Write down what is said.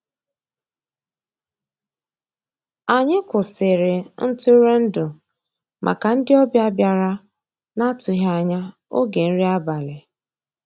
Ànyị́ kwụ́sị́rí ntụ́rụ́èndụ́ màkà ndị́ ọ̀bịá bìàrá ná-àtụ́ghị́ ànyá ògé nrí àbàlí.